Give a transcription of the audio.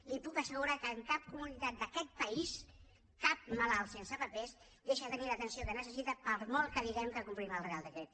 li puc assegurar que en cap comunitat d’aquest país cap malalt sense papers deixa de tenir l’atenció que necessita per molt que diguem que complim el reial decret